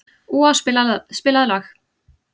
Úa, spilaðu lag.